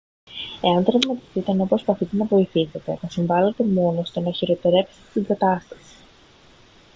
εάν τραυματιστείτε ενώ προσπαθείτε να βοηθήσετε θα συμβάλετε μόνο στο να χειροτερέψετε την κατάσταση